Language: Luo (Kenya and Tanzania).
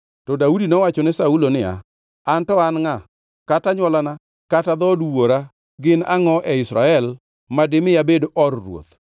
To Daudi nowachone ne Saulo niya, “Anto an ngʼa kata anywolana kata dhood gi wuora gin angʼo e Israel ma dimi abed or ruoth?”